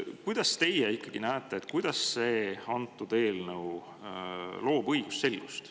Kuidas teie ikkagi näete, kuidas see eelnõu loob õigusselgust?